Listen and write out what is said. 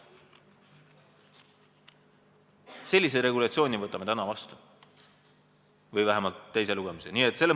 Sellise regulatsiooni võtame täna vastu või vähemalt teise lugemise viime läbi.